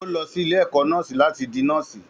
Ó lọ sí ilé-ẹ̀kọ́ nọ́ọ̀sì láti di nọ́ọ̀sì.